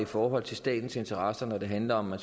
forhold til statens interesser når det handler om at